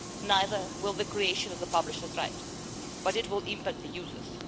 Neither will the creation of the publishers' right, but it will have an impact on the users.